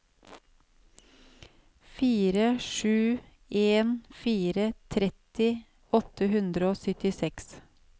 fire sju en fire tretti åtte hundre og syttiseks